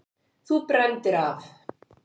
Þú brenndir af!